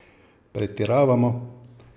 Pretiravamo?